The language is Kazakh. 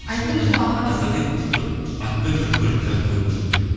айттыңыз ғой аға қазақи бір атпен бір көліке ат қою керек